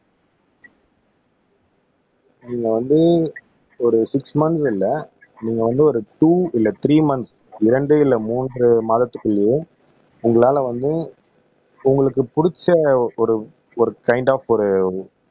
நீங்க வந்து ஒரு சிக்ஸ் மன்த்ஸ் இல்ல நீங்க வந்து ஒரு டூ இல்ல த்ரீ மன்த்ஸ் இரண்டு இல்ல மூன்று மாதத்துக்குள்ளேயே உங்களால வந்து உங்களுக்கு புடிச்ச ஒரு ஒரு கைன்ட் ஆப் ஒரு